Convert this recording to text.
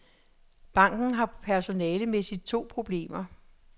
Banken har personalemæssigt to problemer.